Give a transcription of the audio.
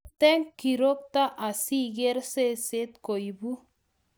Wirte kirokto asigeer seset koibu